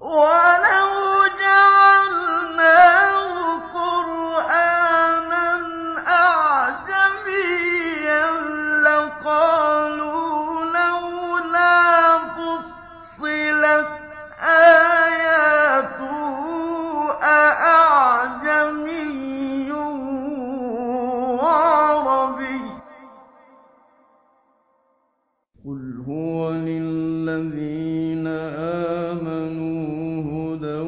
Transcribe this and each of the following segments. وَلَوْ جَعَلْنَاهُ قُرْآنًا أَعْجَمِيًّا لَّقَالُوا لَوْلَا فُصِّلَتْ آيَاتُهُ ۖ أَأَعْجَمِيٌّ وَعَرَبِيٌّ ۗ قُلْ هُوَ لِلَّذِينَ آمَنُوا هُدًى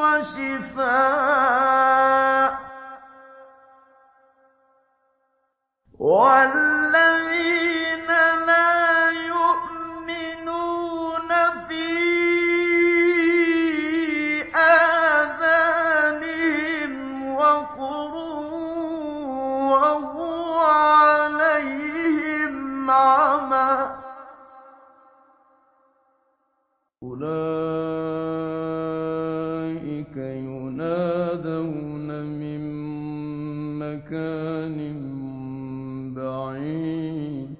وَشِفَاءٌ ۖ وَالَّذِينَ لَا يُؤْمِنُونَ فِي آذَانِهِمْ وَقْرٌ وَهُوَ عَلَيْهِمْ عَمًى ۚ أُولَٰئِكَ يُنَادَوْنَ مِن مَّكَانٍ بَعِيدٍ